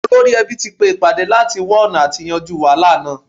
Olórí ẹbí tí pé ìpàdé láti wá ̀ọ̀nà àti yanjú wàhálà náà